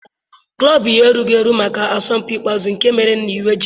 Klọb ya erughị eru maka asọmpi ikpeazụ nke mere na iwe ji ya.